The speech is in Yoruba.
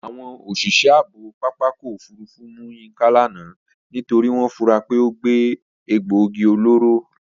Àwọn òṣìṣẹ́ ààbò pápákọ̀ òfurufú mú Yínká lánàá nítorí wọ́n fura pé ó gbé egbòogi olóró